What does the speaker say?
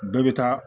Bɛɛ bɛ taa